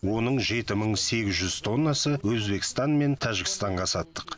оның жеті мың сегіз жүз тоннасын өзбекстан мен тәжікстанға саттық